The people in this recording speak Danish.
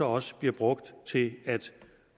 også bliver brugt til